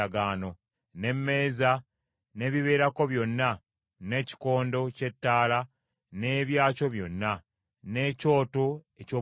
n’emmeeza n’ebibeerako byonna, n’ekikondo ky’ettaala n’ebyakyo byonna, n’ekyoto eky’obubaane,